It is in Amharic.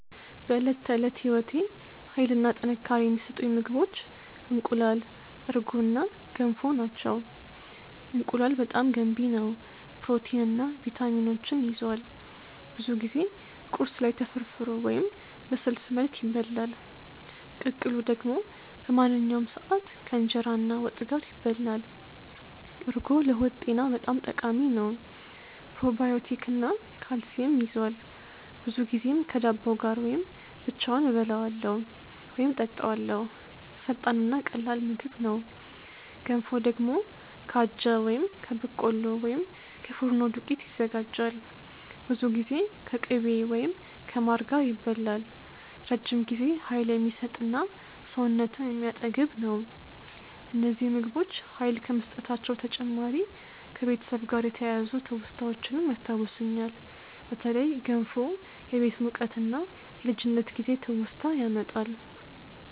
በዕለት ተዕለት ሕይወቴ ኃይል እና ጥንካሬ የሚሰጡኝ ምግቦች እንቁላል፣ እርጎ እና ገንፎ ናቸው። እንቁላል በጣም ገንቢ ነው፣ ፕሮቲን እና ቪታሚኖች ይዟል። ብዙ ጊዜ ቁርስ ላይ ተፈርፍሮ ወይም በስልስ መልክ ይበላል። ቅቅሉ ደግሞ በማንኛውም ሰዓት ከእንጀራ እና ወጥ ጋር ይበላል። እርጎ ለሆድ ጤና በጣም ጠቃሚ ነው። ፕሮባዮቲክ እና ካልሲየም ይዟል፣ ብዙ ጊዜም ከዳቦ ጋር ወይም ብቻውን እበላዋለሁ ወይም እጠጣዋለው። ፈጣን እና ቀላል ምግብ ነው። ገንፎ ደግሞ ከአጃ ወይም ከበቆሎ ወይም ከፉርኖ ዱቄት ይዘጋጃል። ብዙ ጊዜ ከቅቤ ወይም ከማር ጋር ይበላል፣ ረጅም ጊዜ ኃይል የሚሰጥ እና ሰውነትን የሚያጠግብ ነው። እነዚህ ምግቦች ኃይል ከመስጠታቸው በተጨማሪ ከቤተሰብ ጋር የተያያዙ ትውስታዎችንም ያስታውሱኛል። በተለይ ገንፎ የቤት ሙቀት እና የልጅነት ጊዜ ትውስታ ያመጣል።